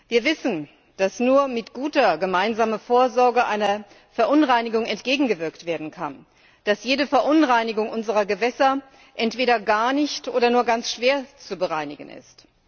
Wir wissen, dass nur mit guter gemeinsamer Vorsorge einer Verunreinigung entgegengewirkt werden kann, dass jede Verunreinigung unserer Gewässer entweder gar nicht oder nur ganz schwer zu beseitigen ist.